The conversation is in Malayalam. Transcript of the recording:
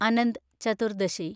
അനന്ത് ചതുർദശി